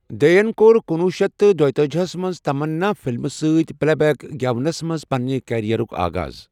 دے یَن کوٚرکنۄہ شیتھ دیوتاجہَس منٛز تمنا فلمہِ سۭتۍ پلے بیک گٮ۪ونَس منٛز پنِنہِ کیریئرُک آغاز۔